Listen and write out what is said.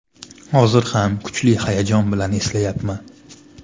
Hozir ham kuchli hayajon bilan eslayapman.